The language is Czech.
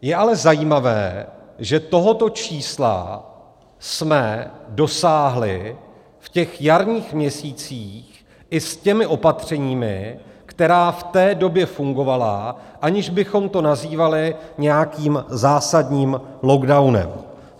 Je ale zajímavé, že tohoto čísla jsme dosáhli v těch jarních měsících i s těmi opatřeními, která v té době fungovala, aniž bychom to nazývali nějakým zásadním lockdownem.